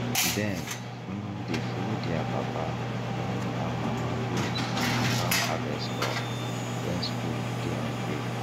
dem um dey follow their papa um and mama go um farm harvest crop when school dey on break